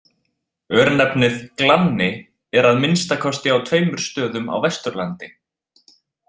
Örnefnið Glanni er að minnsta kosti á tveimur stöðum á Vesturlandi.